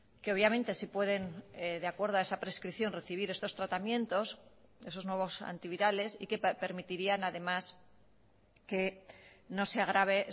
que obviamente sí pueden de acuerdo a esa prescripción recibir estos tratamientos esos nuevos antivirales y que permitirían además que no se agrave